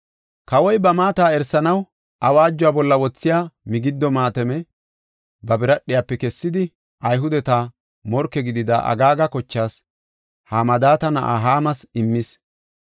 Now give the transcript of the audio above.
Kawoy ba maata erisanaw awaajuwa bolla wothiya migiddo maatame ba biradhiyafe kessidi, Ayhudeta morke gidida, Agaaga kochaas, Hamadaata na7aa Haamas immis.